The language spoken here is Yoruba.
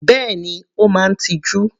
Bẹ́ẹ̀ni, Ó máa ń tiju.